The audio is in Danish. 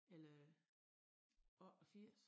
Eller 84